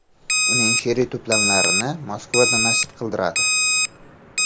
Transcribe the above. Uning she’riy to‘plamini Moskvada nashr qildiradi.